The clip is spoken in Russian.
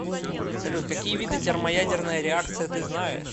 салют какие виды термоядерная реакция ты знаешь